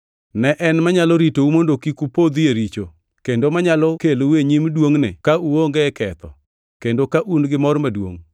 Ne en manyalo ritou mondo kik upodhi e richo, kendo manyalo kelou e nyim duongʼne ka uonge ketho kendo ka un gimor maduongʼ